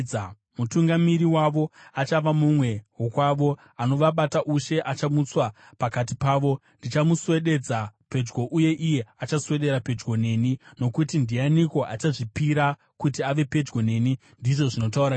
Mutungamiri wavo achava mumwe wokwavo; anovabata ushe achamutswa pakati pavo. Ndichamuswededza pedyo uye iye achaswedera pedyo neni, nokuti ndianiko achazvipira kuti ave pedyo neni?’ ndizvo zvinotaura Jehovha.